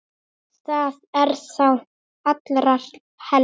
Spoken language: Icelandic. Það er þá allra helst!